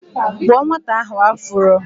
Kpuo nwata ahụ afuro!